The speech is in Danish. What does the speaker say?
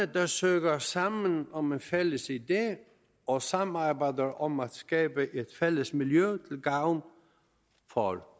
der søger sammen om en fælles idé og samarbejder om at skabe et fælles miljø til gavn for